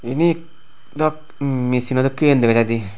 iyani dow misino dhokkin dega jay dey.